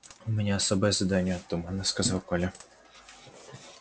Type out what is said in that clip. у меня особое задание туманно сказал коля